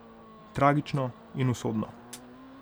Tragično in usodno.